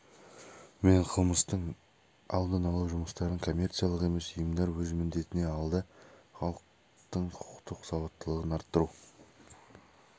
мен қылмыстың алдын алу жұмыстарын коммерциялық емес ұйымдар өз міндетіне алды халықтың құқықтық сауаттылығын арттыру